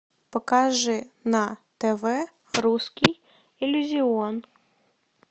покажи на тв русский иллюзион